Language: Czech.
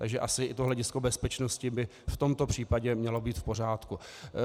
Takže asi i to hledisko bezpečnosti by v tomto případě mělo být v pořádku.